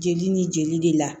Jeli ni jeli de la